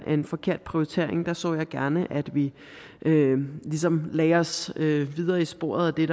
en forkert prioritering der så jeg gerne at vi ligesom lagde os videre i sporet af det